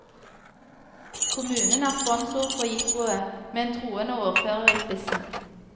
Kommunen er sponsor for jippoet, med en troende ordfører i spissen.